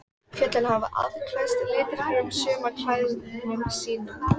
Fjöllin hafa afklæðst litríkum sumarklæðum sínum.